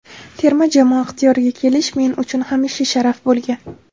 Terma jamoa ixtiyoriga kelish men uchun hamisha sharaf bo‘lgan.